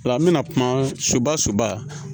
Ola an bɛna kuma suba suba